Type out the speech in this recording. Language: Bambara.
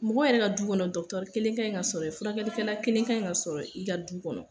Mɔgɔ yɛrɛ ka du kɔnɔ kelen ka ɲi ka sɔrɔ ye, furakɛlikɛla kelen ka ɲi ka sɔrɔ i ka du kɔnɔ.